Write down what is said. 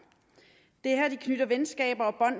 det er her de knytter venskaber